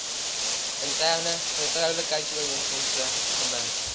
interne vertroulikheidsooreenkomste gebind